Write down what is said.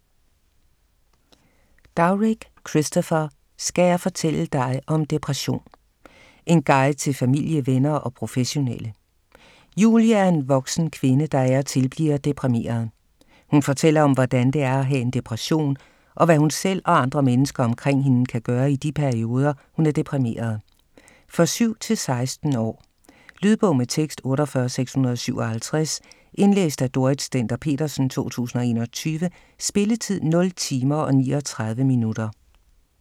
Dowrick, Christopher: Skal jeg fortælle dig om depression?: en guide til familie, venner og professionelle Julie er en voksen kvinde der af og til bliver deprimeret. Hun fortæller om, hvordan det er at have en depression, og hvad hun selv og andre mennesker omkring hende kan gøre i de perioder, hun er deprimeret. For 7-16 år. Lydbog med tekst 48657 Indlæst af Dorrit Stender-Petersen, 2021. Spilletid: 0 timer, 39 minutter.